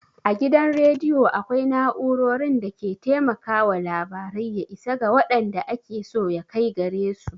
A gidan rediyo akwai na'urorin da ke taimakawa labarai ya isa ga waɗanda ake so ya kai gare su.